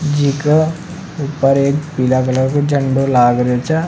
जीका ऊपर एक पीला कलर को झंडा लाग रेहो छ।